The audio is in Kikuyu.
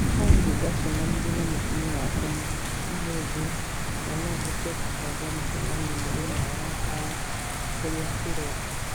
Olly nĩ ndacemanirie na mũtumia wakwa ũmũthĩ na no ũhote kũbanga mũcemanio mũthenya wa gatano urĩa ĩroka